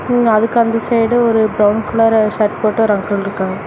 இன் அதுக்கு அந்த சைடு ஒரு பிரவுன் கலரு ஷர்ட் போட்டு ஒரு அங்கிள் இருக்காங் --